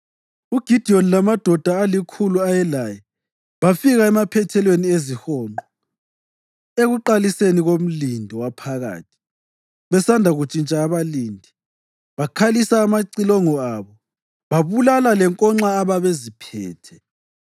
UGidiyoni lamadoda alikhulu ayelaye bafika emaphethelweni ezihonqo ekuqaliseni komlindo waphakathi, besanda kuntshintsha abalindi. Bakhalisa amacilongo abo babulala lenkonxa ababeziphethe.